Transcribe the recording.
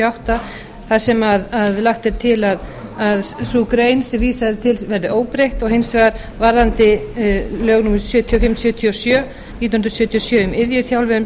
átta þar sem lagt er til að sú grein sem vísað er til verði óbreytt og hins vegar varðandi lög númer sjötíu og fimm nítján hundruð sjötíu og sjö um iðjuþjálfun